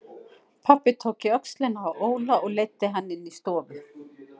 Pabbi tók í öxlina á Óla og leiddi hann inn í stofu.